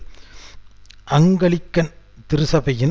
விடுதலை புலிகளுடன் தான் பேச்சுவார்த்தை